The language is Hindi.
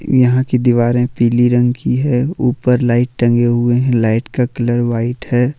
यहां की दीवारें पीले रंग की है ऊपर लाइट टंगे हुए हैं लाइट का कलर व्हाइट है।